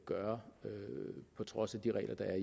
gøre på trods af de regler der